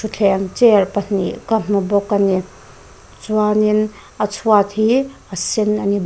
thutthleng chair pahnih ka hmu bawk a ni chuan in a chhuat hi a sen ani --